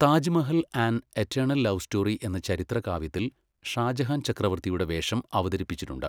Taj Mahal an eternal love story' എന്ന ചരിത്ര കാവ്യത്തിൽ ഷാജഹാൻ ചക്രവർത്തിയുടെ വേഷം അവതരിപ്പിച്ചിട്ടുണ്ട്.